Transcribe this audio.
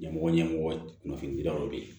Ɲɛmɔgɔ ɲɛmɔgɔ kunnafoni dira o de ye